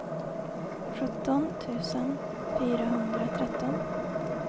sjutton tusen fyrahundratretton